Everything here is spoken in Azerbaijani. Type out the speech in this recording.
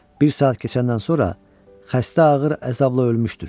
Bir saat keçəndən sonra xəstə ağır əzabla ölmüşdür.